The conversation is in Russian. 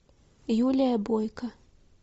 юлия бойко